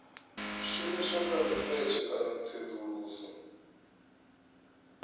shumiswa kha risetshe kana tsedzuluso